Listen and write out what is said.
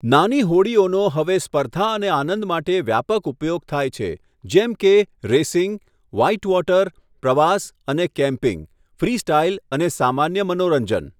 નાની હોડીઓનો હવે સ્પર્ધા અને આનંદ માટે વ્યાપક ઉપયોગ થાય છે, જેમ કે રેસિંગ, વ્હાઇટવોટર, પ્રવાસ અને કેમ્પિંગ, ફ્રીસ્ટાઇલ અને સામાન્ય મનોરંજન.